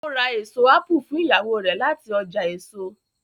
o rá eso apu fún Ìyàwó rẹ láti ọjà èso.